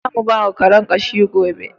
Za mu bawa Karen ƙashi gobe.